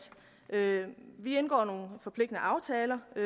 vi indgår forpligtende aftaler og